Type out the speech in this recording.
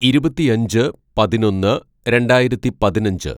"ഇരുപത്തിയഞ്ച് പതിനൊന്ന് രണ്ടായിരത്തി പതിനഞ്ച്‌